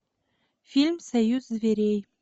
фильм союз зверей